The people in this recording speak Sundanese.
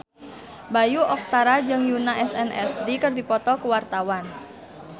Bayu Octara jeung Yoona SNSD keur dipoto ku wartawan